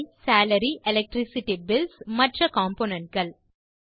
அவைSalaryElectricity bills மற்ற component கள்